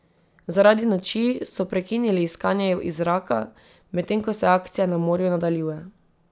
Zaradi noči so prekinili iskanje iz zraka, medtem ko se akcija na morju nadaljuje.